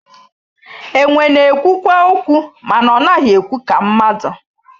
Enwe na-ekwukwa okwu mana ọ naghị ekwu ka mmadụ